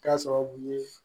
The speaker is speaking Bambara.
K'a sababu ye